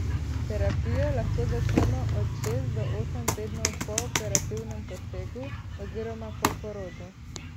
Terapijo lahko začnemo od šest do osem tednov po operativnem posegu oziroma po porodu.